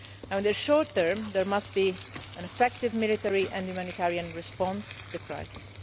In the short term there must be an effective military and humanitarian response to the crisis.